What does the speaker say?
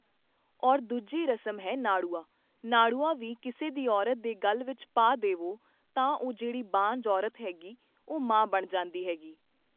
ਔਰ ਦੂਜੀ ਰਸਮ ਹੈ ਨਾੜੂਆ, ਨਾੜੂਆ ਵੀ ਕਿਸੇ ਦੀ ਔਰਤ ਦੇ ਗਲ਼ ਵਿੱਚ ਪਾ ਦੇਵੋ ਤਾਂ ਉਹ ਜਿਹੜੀ ਬਾਂਝ ਔਰਤ ਹੈਗੀ ਉਹ ਮਾਂ ਬਣ ਜਾਂਦੀ ਹੈਗੀ